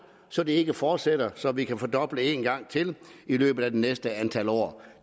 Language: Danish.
så det ikke fortsætter så vi kan fordoble en gang til i løbet af det næste antal år